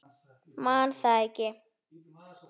Man það ekki.